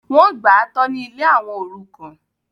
wọ́n gbà á tọ́ ní ilé àwọn òrukàn